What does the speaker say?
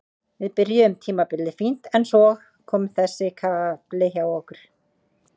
Við byrjuðum tímabilið fínt en svo kom þessi kafli hjá okkur.